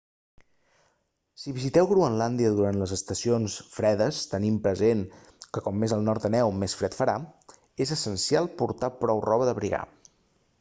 si visiteu groenlàndia durant les estacions fredes tenint present que com més al nord aneu més fred farà és essencial portar prou roba d'abrigar